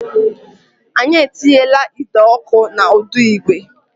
Anyị etinyela ide ọkụ na ụdọ igwe